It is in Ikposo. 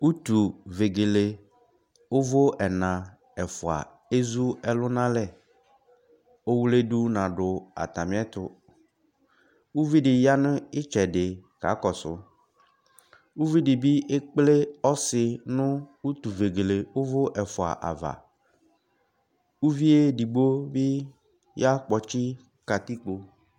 Utúvegele uvũ ɛnà ɛfuaa ezu ɛlu n'alɛ owluedu n' adu atamiɛtu Uví dĩ yanu itsɛdi kakɔsu, uví dibĩ ekplé ɔsi nu utuvegelé uvũ ɛfua ávà, uvié ɛdikpo bi ya kpɔtsi katikpo